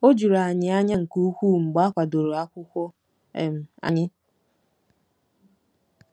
O juru anyị anya nke ukwuu mgbe a kwadoro akwụkwọ um anyị.